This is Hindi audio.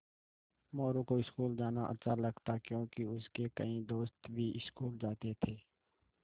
मोरू को स्कूल जाना अच्छा लगता क्योंकि उसके कई दोस्त भी स्कूल जाते थे